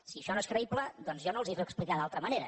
si això no és creïble doncs jo no els puc explicar d’altra manera